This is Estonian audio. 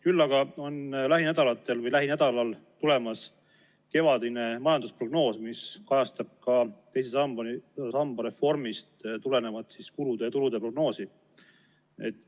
Küll aga on lähinädalatel või lähinädalal tulemas kevadine majandusprognoos, mis kajastab ka teise samba reformist tulenevat kulude ja tulude prognoosi.